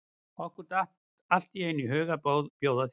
Okkur datt allt í einu í hug að bjóða þér með.